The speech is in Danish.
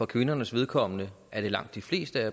kvindernes vedkommende er det langt de fleste